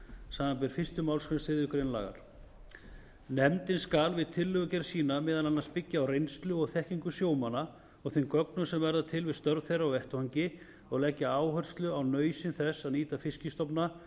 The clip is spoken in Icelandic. samanber fyrstu málsgrein þriðju grein nefndin skal við tillögugerð sína meðal annars byggja á reynslu og þekkingu sjómanna og þeim gögnum sem verða til við störf þeirra á vettvangi og leggja áherslu á nauðsyn þess að nýta fiskstofna